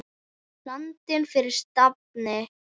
Land fyrir stafni!